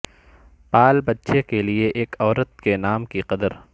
پال بچے کے لئے ایک عورت کے نام کی قدر